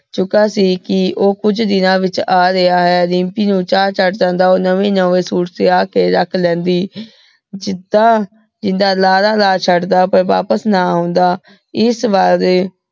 ਸੁਬਹ ਸੀ ਕੀ ਊ ਕੁਛ ਦਿਨਾਂ ਵਿਚ ਆ ਰਯ ਆਯ ਦਿਮ੍ਪੀ ਨੂ ਚਾ ਚਾਢ਼ ਜਾਂਦਾ ਊ ਨਵੇ ਨਵੇ ਸੁਇਟ ਸਿਲਾ ਕੇ ਰਖ ਲੇੰਡਿ ਜਿੰਦਾ ਏਦਾਂ ਲਾਰਾ ਚੜ ਦਾ ਪਰ ਵਾਪਿਸ ਨਾ ਆਉਂਦਾ ਏਸ ਵਾਰ